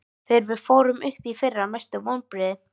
Þegar við fórum upp í fyrra Mestu vonbrigði?